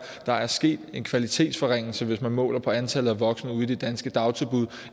at der er sket en kvalitetsforringelse hvis der måles på antallet af voksne ude i de danske dagtilbud